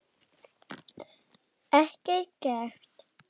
Ekkert gert?